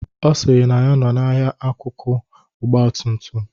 Ọ sịrị na ya nọ n'ahia akụkụ ọgbatumtum.